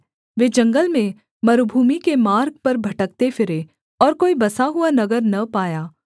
वे जंगल में मरूभूमि के मार्ग पर भटकते फिरे और कोई बसा हुआ नगर न पाया